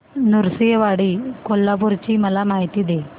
नृसिंहवाडी कोल्हापूर ची मला माहिती दे